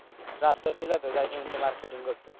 ଶ୍ରାଦ୍ଧ ଥିଲା ତ ଯାଇଥାନ୍ତେ ଟିକେ marketing କରିତେ।